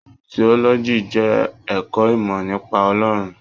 Tiọ́lọ́jí jẹ ẹkọ ìmọ nípa Ọlọrun.